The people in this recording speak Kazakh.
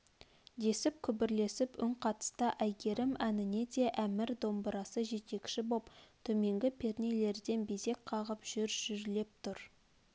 десіп күбрлесіп үн қатысты әйгерім әніне де әмір домбырасы жетекші боп төменгі пернелерден безек қағып жүр-жүрлеп тұр